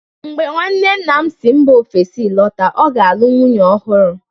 mgbe nwanne nna m si mba ofesi lọta, ọ ga-alụ nwunye ọhụrụ